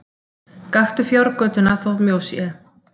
Gakktu fjárgötuna þótt mjó sé!